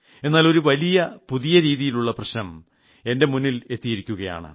എന്നാൽ ഒരു വലിയ പുതിയ രീതിയിലുളള പ്രശ്നം എന്റെ മുമ്പിൽ എത്തിയിരിക്കുകയാണ്